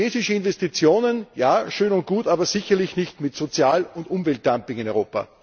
Chinesische Investitionen ja, schön und gut, aber sicherlich nicht mit Sozial und Umweltdumping in Europa!